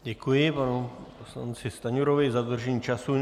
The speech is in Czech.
Děkuji panu poslanci Stanjurovi za dodržení času.